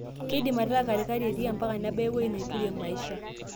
Kindim ataa katikati etii ampaka nebaya eweuji naiturie maisha.